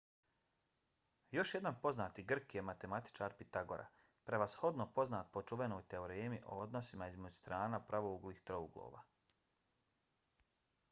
još jedan poznati grk je matematičar pitagora prevashodno poznat po čuvenoj teoremi o odnosima između strana pravouglih trouglova